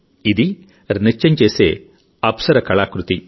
ఇది నృత్యం చేసే అప్సరకళాకృతి